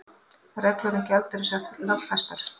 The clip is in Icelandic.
Reglur um gjaldeyrishöft lögfestar